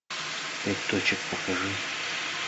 пять точек покажи